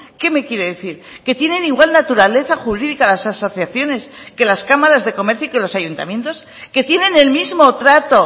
qué me quiere decir que tienen igual naturaleza jurídica las asociaciones que las cámaras de comercio y que los ayuntamientos que tienen el mismo trato